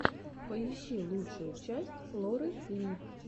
поищи лучшую часть лоры ли